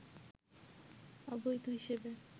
অবৈধ হিসেবে